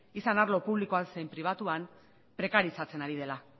izan arlo publikoan zein pribatuan prekarizatzen ari dela